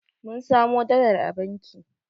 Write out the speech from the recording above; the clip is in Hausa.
Mun samo dalar a banki